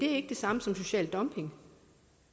er ikke det samme som social dumping